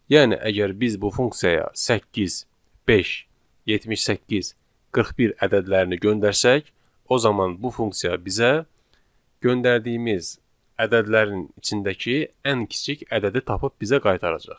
Yəni əgər biz bu funksiyaya 8, 5, 78, 41 ədədlərini göndərsək, o zaman bu funksiya bizə göndərdiyimiz ədədlərin içindəki ən kiçik ədədi tapıb bizə qaytaracaq.